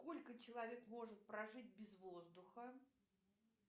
сколько человек может прожить без воздуха